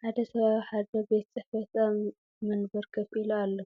ሓደ ሰብ ኣብ ሓደ ቤት ጽሕፈት ኣብ መንበር ኮፍ ኢሉ ኣሎ።